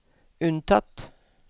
unntatt